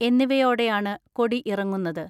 എന്നിവയോടെയാണ് കൊടി ഇറങ്ങുന്നത്.